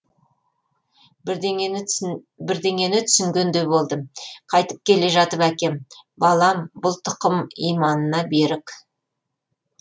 бірдеңені түсінгендей болдым қайтып келе жатып әкем балам бұл тұқым иманына берік